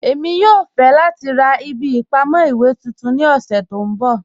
Ẹ̀mi yòò fẹ̀ lati rá ìbí ìpamọ̀ iwe tuntun ní ọ̀ṣẹ̀ tí n bọ́.